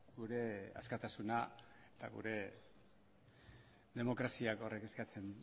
gure askatasuna eta gure demokraziak horrek eskatzen